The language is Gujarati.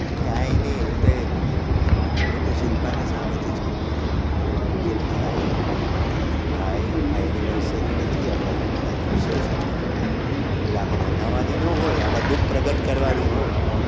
કાઈ નઈ હું તો શિલ્પા ને સામે થી જ કઉ છુ કે ભાઈ ભાઈ આ anniversary નથી આપડા દુખ ના દિવસો છે ભાઈ એટલે આમાં માનાંવાની ના હોય આમાં દુઃખ પ્રગટ કરવાનું હોય